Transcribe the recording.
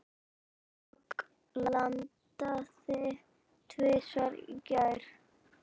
Dögg landaði tvisvar í gær.